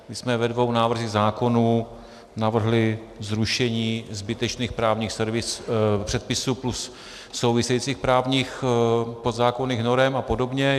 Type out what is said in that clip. My jsme ve dvou návrzích zákonů navrhli zrušení zbytečných právních předpisů plus souvisejících právních podzákonných norem a podobně.